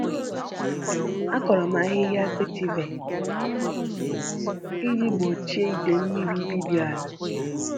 Akụrụ m ahịhịa vetiver iji gbochie idei mmiri ibibi ala.